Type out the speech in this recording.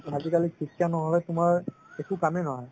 আজিকালি শিক্ষা নহলে তুমাৰ একো কামে নহয়